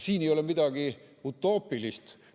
Siin ei ole midagi utoopilist.